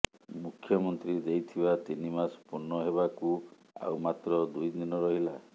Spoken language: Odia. ମୁଖ୍ୟମନ୍ତ୍ରୀ ଦେଇଥିବା ତିନି ମାସ ପୂର୍ଣ୍ଣ ହେବାକୁ ଆଉ ମାତ୍ର ଦୁଇ ଦିନ ରହିଲା